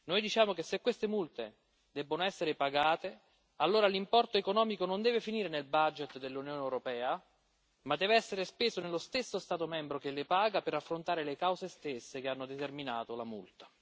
Noi diciamo che, se queste multe debbono essere pagate, allora l'importo economico non deve finire nel budget dell'Unione europea, ma deve essere speso nello stesso Stato membro che le paga per affrontare le cause stesse che hanno determinato la multa.